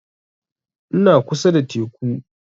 Ina kusa da teku